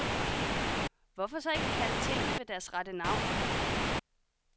Hvorfor så ikke kalde tingene ved deres rette navn?